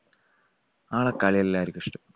ആൾടെ കളി എല്ലാവർക്കും ഇഷ്ടപ്പെട്ടു.